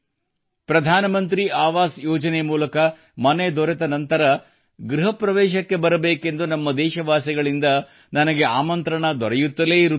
ಪ್ರಧಾನ ಮಂತ್ರಿ ಆವಾಸ್ ಯೋಜನೆ ಮೂಲಕ ಮನೆ ದೊರೆತ ನಂತರ ಗೃಹಪ್ರವೇಶಕ್ಕೆ ಬರಬೇಕೆಂದು ನಮ್ಮ ದೇಶವಾಸಿಗಳಿಂದ ನನಗೆ ಆಮಂತ್ರಣ ದೊರೆಯುತ್ತಲೇ ಇರುತ್ತದೆ